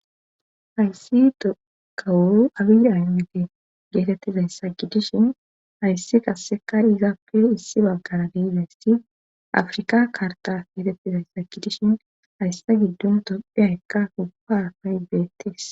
Hayssi dokawu abiida mite geetettizay sakidishin hayssi qassekar izaappe issi baggara geidayssi afrika karta geetettizay sakidishin hayssa giddun dopphe haykka kubpa faybeettes.